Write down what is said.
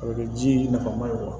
A bɛ kɛ ji nafa ma ye wa